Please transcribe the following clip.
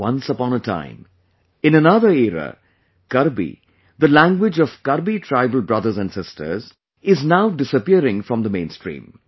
Once upon a time, in another era, 'Karbi', the language of 'Karbi tribal' brothers and sisters...is now disappearing from the mainstream